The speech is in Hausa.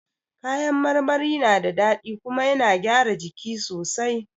Ka yan marmari na da daɗi kuma yana gyara jiki sosai